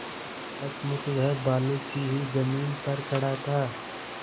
सचमुच वह बालू की ही जमीन पर खड़ा था